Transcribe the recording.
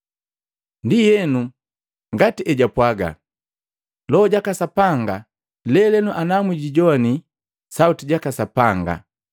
Ndienu ngati ejupwaga Loho jaka Sapanga: “Lelenu ana mwijowani sauti jaka Sapanga,